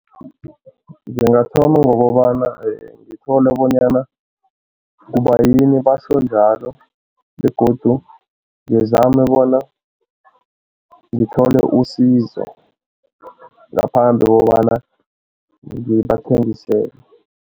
Ngingathoma ngokobana ngithole bonyana kubayini batjho njalo begodu ngizame bona ngithole usizo ngaphambi kokobana ngibathengisele.